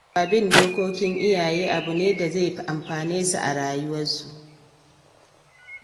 Yara su fahimci cewa bin dokokin iyaye abu ne da zai amfane su a rayuwarsu.